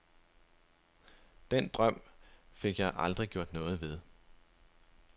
Den drøm fik jeg aldrig gjort noget ved.